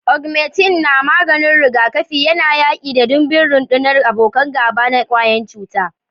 Augmentin na maganin rigakafi yana yaƙi da ɗimbin rundunar abokan gaba na kwayan cuta.